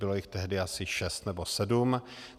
Bylo jich tehdy asi šest nebo sedm.